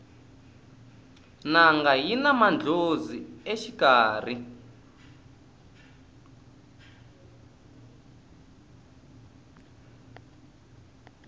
nanga yina mandlhozi exikarhi